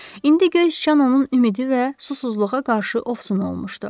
İndi göy sıçan onun ümidi və susuzluğa qarşı ovsun olmuşdu.